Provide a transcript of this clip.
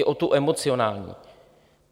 I o tu emocionální.